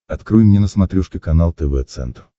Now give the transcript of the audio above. открой мне на смотрешке канал тв центр